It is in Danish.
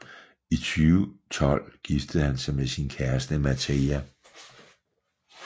I 2012 giftede han sig med sin kæreste Mateja